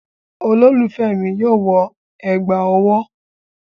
Olólùfẹ́ mi yóò wọ ẹ̀gbà ọwọ́